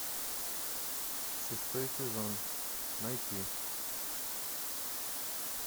шестой сезон найти